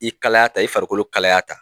I kalaya ta i farikolo kalaya ta